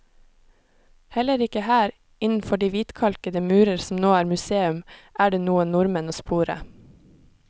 Heller ikke her, innenfor de hvitkalkede murer som nå er museum, er det noen nordmenn å spore.